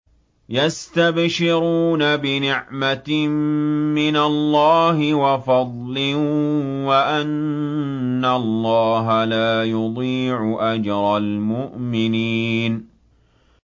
۞ يَسْتَبْشِرُونَ بِنِعْمَةٍ مِّنَ اللَّهِ وَفَضْلٍ وَأَنَّ اللَّهَ لَا يُضِيعُ أَجْرَ الْمُؤْمِنِينَ